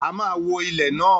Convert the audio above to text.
A máa wo ilẹ̀ náà